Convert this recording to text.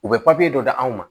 U bɛ dɔ di anw ma